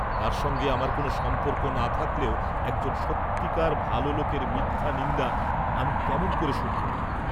তাঁর সঙ্গে আমার কোন সম্পর্ক না থাকলেও একজন সত্যিকার ভাল লোকের মিথ্যা নিন্দা আমি কেমন ক'রে শুনব?